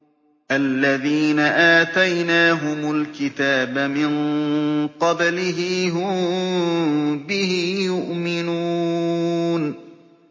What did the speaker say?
الَّذِينَ آتَيْنَاهُمُ الْكِتَابَ مِن قَبْلِهِ هُم بِهِ يُؤْمِنُونَ